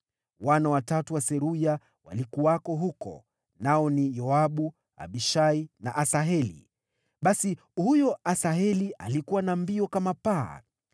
Wana watatu wa Seruya walikuwako huko: nao ni Yoabu, Abishai na Asaheli. Basi huyo Asaheli alikuwa na mbio kama paa.